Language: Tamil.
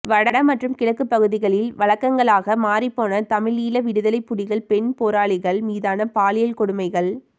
வட மற்றும் கிழக்கு பகுதிகளில் வழக்கங்களாக மாறிப்போன தமிழீழ விடுதலை புலிகள் பெண் போராளிகள் மீதான பாலியல் கொடுமைகள்